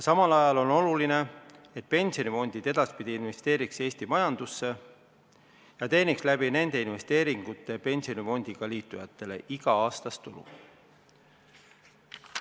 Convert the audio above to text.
Samal ajal on oluline, et pensionifondid edaspidi investeeriks Eesti majandusse ja teeniks nende investeeringute abil pensionifondiga liitujatele iga-aastast tulu.